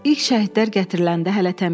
İlk şəhidlər gətiriləndə hələ təmkinli idi.